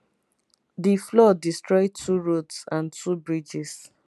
di flood destroy two roads and two bridges